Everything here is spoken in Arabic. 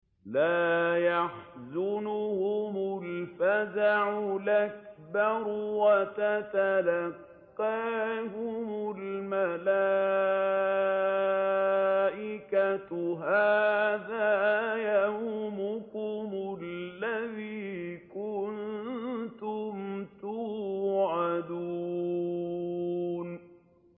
لَا يَحْزُنُهُمُ الْفَزَعُ الْأَكْبَرُ وَتَتَلَقَّاهُمُ الْمَلَائِكَةُ هَٰذَا يَوْمُكُمُ الَّذِي كُنتُمْ تُوعَدُونَ